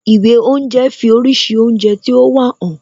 Ìwé oúnje fi oríṣi oúnjẹ tí ó wà hàn